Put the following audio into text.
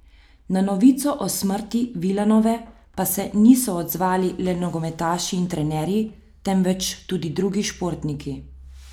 Na novico o smrti Vilanove pa se niso odzvali le nogometaši in trenerji, temveč tudi drugi športniki.